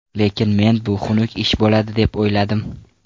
Lekin men bu xunuk ish bo‘ladi deb o‘yladim.